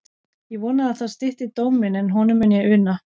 Ég vona að það stytti dóm minn, en honum mun ég una.